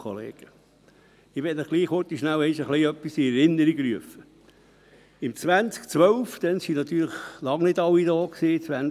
2012 debattierte der Grosse Rat hier das erste Mal über einen debattiert und nahm ihn zur Kenntnis.